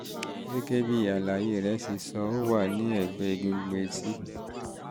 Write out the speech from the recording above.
gẹ́gẹ́ bí àlàyé rẹ ṣe sọ ó wà ní ẹ̀gbẹ́ egungun etí